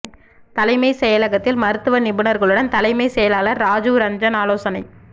தலைமை செயலகத்தில் மருத்துவ நிபுணர்களுடன் தலைமைச் செயலாளர் ராஜீவ் ரஞ்சன் ஆலோசனை